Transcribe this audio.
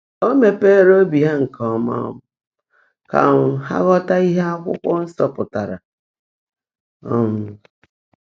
Ó “mèèpéérè óbí há nkè ọ́mã um kà um há ghọ́tá íhe Ákwụ́kwọ́ Nsọ́ pụ́tárá.” um